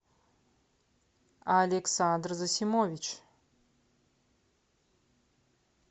александр засимович